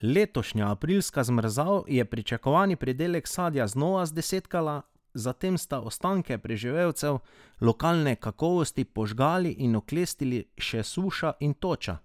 Letošnja aprilska zmrzal je pričakovani pridelek sadja znova zdesetkala, zatem sta ostanke preživelcev lokalne kakovosti požgali in oklestili še suša in toča.